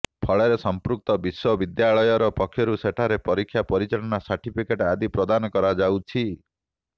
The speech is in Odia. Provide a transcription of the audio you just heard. ଫଳରେ ସଂପୃକ୍ତ ବିଶ୍ବବିଦ୍ୟାଳୟ ପକ୍ଷରୁ ସେଠାରେ ପରୀକ୍ଷା ପରିଚାଳନା ସାର୍ଟିଫିକେଟ୍ ଆଦି ପ୍ରଦାନ କରାଯାଉଛି